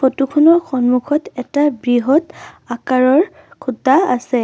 Photo খনৰ সন্মুখত এটা বৃহৎ আকাৰৰ খুঁটা আছে।